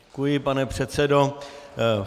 Děkuji, pane předsedo.